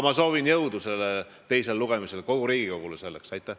Ma soovin teisel lugemisel kogu Riigikogule jõudu!